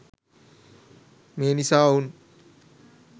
මේ නිසා ඔවුන්